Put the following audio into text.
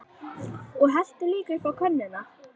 Og helltu líka upp á könnuna.